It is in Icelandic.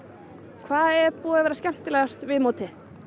hvað er búið að vera skemmtilegast við mótið